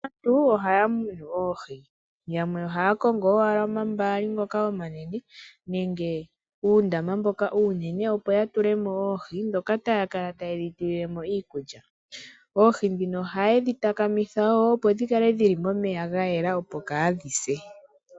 Aantu oyendji ohaya munu oohi . Oohi odhina oshilonga nayi oshoka oha dhi liwa dho oha dhi vulu woo okulandithwapo kumonike oshimaliwa.